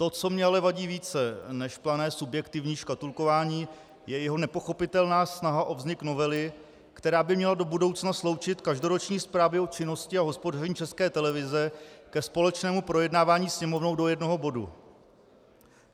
To, co mi ale vadí více než plané subjektivní škatulkování, je jeho nepochopitelná snaha o vznik novely, která by měla do budoucna sloučit každoroční zprávy o činnosti a hospodaření České televize ke společnému projednávání Sněmovnou do jednoho bodu.